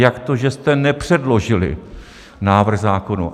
Jak to, že jste nepředložili návrh zákonů?